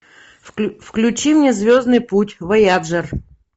включи мне звездный путь вояджер